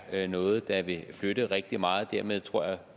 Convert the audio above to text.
er noget der vil flytte rigtig meget derimod tror jeg